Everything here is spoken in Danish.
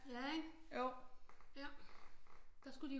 Ja ikke der skulle de